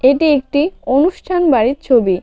এটি একটি অনুষ্ঠান বাড়ির ছবি।